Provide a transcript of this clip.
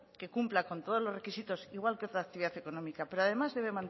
que cumpla con todos los requisitos igual que otra actividad económica pero además debe